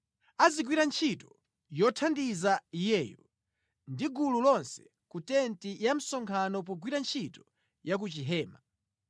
Azigwira ntchito yothandiza iyeyo ndi gulu lonse ku tenti ya msonkhano pogwira ntchito ya ku Chihema.